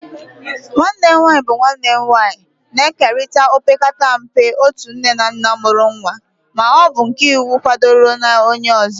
Nwanne nwanyị bụ nwanne nwanyị, na-ekerịta opekata mpe otu nne na nna mụrụ nwa ma ọ bụ nke iwu kwadoro na onye ọzọ.